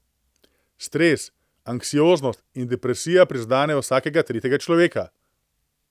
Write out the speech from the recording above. Stres, anksioznost in depresija prizadenejo vsakega tretjega človeka.